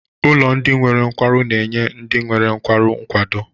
Ụlọ ndị nwere nkwarụ na-enye ndị nwere nkwarụ nkwado.